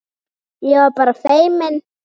Ég var bara feimin!